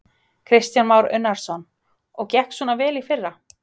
Kristján Már Unnarsson: Og gekk svona vel í fyrra?